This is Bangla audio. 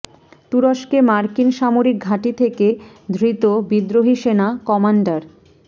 তুরস্কে মার্কিন সামরিক ঘাঁটি থেকে ধৃত বিদ্রোহী সেনা কমান্ডার